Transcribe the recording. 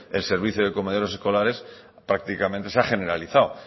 el servicio de comedores escolares prácticamente se ha generalizado